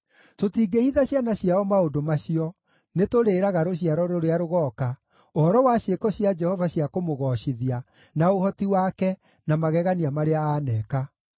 Tũtingĩhitha ciana ciao maũndũ macio; nĩtũrĩĩraga rũciaro rũrĩa rũgooka ũhoro wa ciĩko cia Jehova cia kũmũgoocithia, na ũhoti wake, na magegania marĩa aaneka.